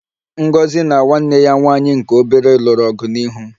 Ngozi na nwanne ya nwanyị nke obere lụrụ ọgụ n'ihu m